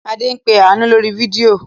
Adé ń pe Àánú lórí fídíò.